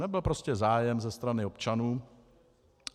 Nebyl prostě zájem ze strany občanů.